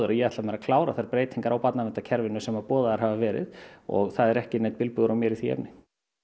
að ég ætla mér að klára þær breytingar á barnaverndarkerfinu sem boðaðar hafa verið og það er ekki neinn bilbugur á mér í því efni